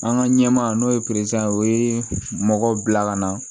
An ka ɲɛmaa n'o ye o ye mɔgɔ bila ka na